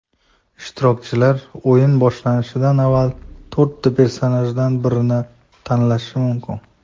Ishtirokchilar o‘yin boshlanishidan avval to‘rtta personajdan birini tanlashi mumkin.